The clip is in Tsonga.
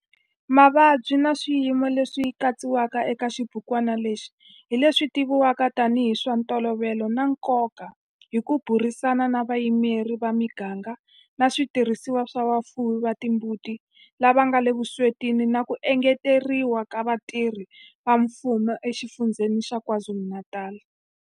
Mavabyi na swiyimo leswi katsiwaka eka xibukwana lexi hi leswi tivivwaka tanihi hi swa ntolovelo na nkoka hi ku burisana na vayimeri va miganga na switirhisiwa swa vafuwi va timbuti lava nga le vuswetini na ku engeteriwa ka vatirhi va mfumo eXifundzheni xa KwaZulu-Natal.